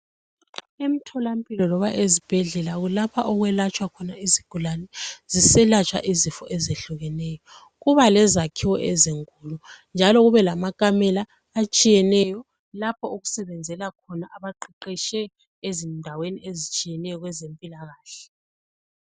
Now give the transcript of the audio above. Emtholampilo loba ezibhedlela kulapho okwelatshwa khona izigulani. Ziselatshwa izifo ezehlukeneyo. Kuba lezakhiwo ezinkulu njalo kube lamakamela atshiyeneyo lapho okusebenzela khona abaqeqetshe ezindaweni ezitshiyeneyo kwezempilakahle.